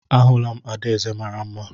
Ahụla m adaeze mara mma